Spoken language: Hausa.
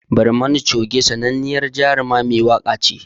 Barmani Choge sananniyar Jaruma mai waka ce